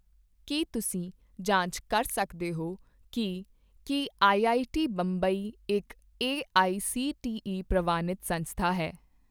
ਕੀ ਤੁਸੀਂ ਜਾਂਚ ਕਰ ਸਕਦੇ ਹੋ ਕੀ ਕੀ ਆਈਆਈਟੀ ਬੰਬਈ ਇੱਕ ਏਆਈਸੀਟੀਈ ਪ੍ਰਵਾਨਿਤ ਸੰਸਥਾ ਹੈ?